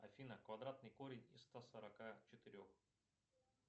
афина квадратный корень из ста сорока четырех